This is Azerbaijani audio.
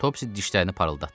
Topsy dişlərini parıldatdı.